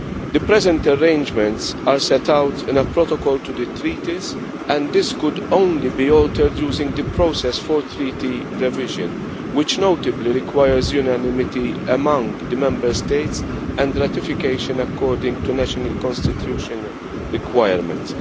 The present arrangements are set out in a Protocol to the Treaties, and this could only be altered using the process for treaty revision, which notably requires unanimity among the Member States and ratification according to national constitutional requirements.